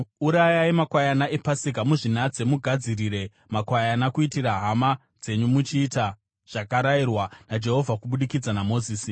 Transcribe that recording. Urayai makwayana ePasika muzvinatse mugadzirire makwayana kuitira hama dzenyu, muchiita zvakarayirwa naJehovha kubudikidza naMozisi.”